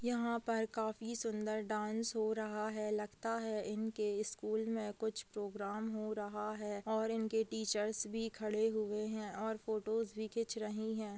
यहाँ पर काफी सुंदर डांस हो रहा है लगता है इनके स्कूल में कुछ पोग्राम हो रहा है और इनके टीचर्स भी खड़े हुए हैं और फोटोस भी खिंच रही हैं।